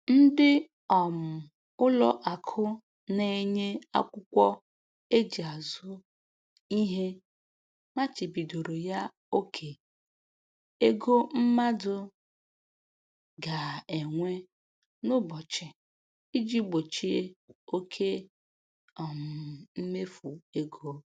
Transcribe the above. Ndị um ụlọ akụ na-enye akwụkwọ e ji azụ ihe machibidoro ya oke ego mmadụ ga-ewe n'ụbọchị iji gbochie oke um mmefu ego